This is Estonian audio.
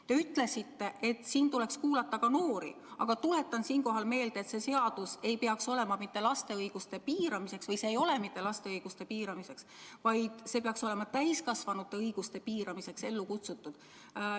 Te ütlesite, et tuleks kuulata ka noori, aga tuletan meelde, et see seadus ei ole mõeldud mitte laste õiguste piiramiseks, vaid see peaks olema ellu kutsutud täiskasvanute õiguste piiramiseks.